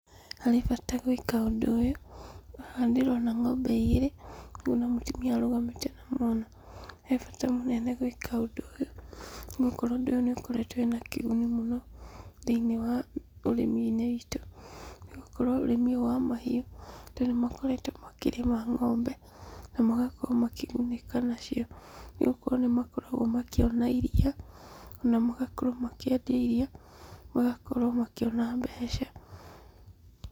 Harĩ bata gwĩka ũndũ ũyũ, haha ndĩrona ng'ombe igĩrĩ, hamwe na mũtumia ũrũgamĩte na mwana. He bata mũnene gwĩka ũndũ ũyũ, nĩgũkorwo ũndũ ũyũ nũũkoretwo wĩna kĩguni mũno, thĩinĩ wa ũrĩmi-inĩ witũ, nĩgũkorwo ũrĩmi ũyũ wa mahiũ. andũ nĩmakoretwo makĩrĩma ng'ombe, namagakorwo makĩgunĩka nacio, nĩgũkorwo nĩmakoragwo makĩona iria na magakorwo makĩendia iria, magakorwo makĩona mbeca.